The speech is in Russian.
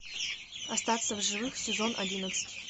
остаться в живых сезон одиннадцать